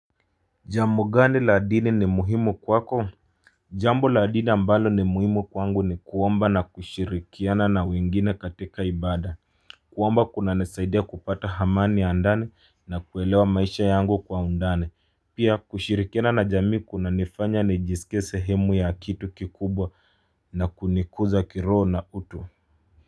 Jambo gani la dini ni muhimu kwako? Jambo la dini ambalo ni muhimu kwangu ni kuomba na kushirikiana na wengine katika ibada. Kuomba kunanisaidia kupata hamani ya ndani na kuelewa maisha yangu kwa undani Pia kushirikiana na jamii kuna nifanya nijisikie sehemu ya kitu kikubwa na kunikuza kirho na utu.